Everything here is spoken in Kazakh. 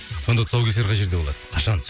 сонда тұсаукесер қай жерде болады қашан